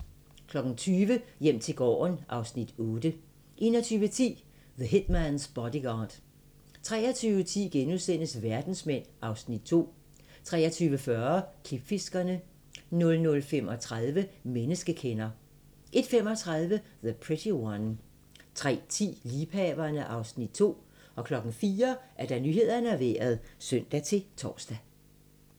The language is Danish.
20:00: Hjem til gården (Afs. 8) 21:10: The Hitman's Bodyguard 23:10: Verdensmænd (Afs. 2)* 23:40: Klipfiskerne 00:35: Menneskekender 01:35: The Pretty One 03:10: Liebhaverne (Afs. 2) 04:00: Nyhederne og Vejret (søn-tor)